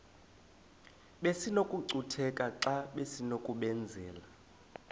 besinokucutheka xa besinokubenzela